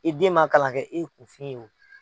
I den ma kalan kɛ i kunfin ye wo.